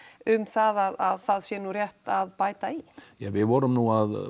um það að það sé nú rétt að bæta í ja við vorum nú